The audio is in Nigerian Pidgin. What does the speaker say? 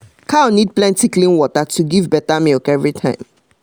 cow need plenty clean water to give better milk everytime